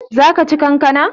Zaka ci kankana?